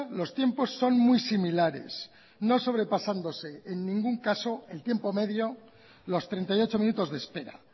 los tiempos son muy similares no sobrepasándose en ningún caso el tiempo medio los treinta y ocho minutos de espera